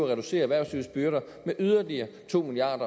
reducere erhvervslivets byrder med yderligere to milliard